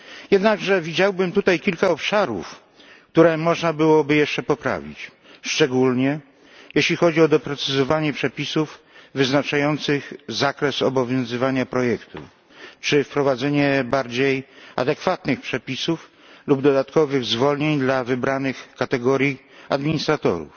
Jednakże widziałbym tutaj kilka obszarów, które można byłoby jeszcze poprawić, szczególnie jeśli chodzi o doprecyzowanie przepisów wyznaczających zakres obowiązywania projektów czy wprowadzenie bardziej adekwatnych przepisów lub dodatkowych zwolnień dla wybranych kategorii administratorów,